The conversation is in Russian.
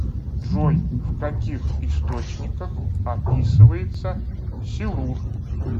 джой в каких источниках описывается силур